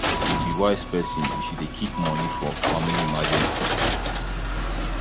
you be wise person if you dey keep moni for family emergency